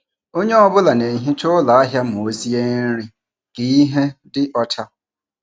Onye ọ bụla na-ehicha ụlọ ahịa ma ọ sie nri ka ihe dị ọcha.